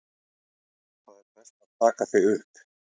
Það er best að taka þig upp.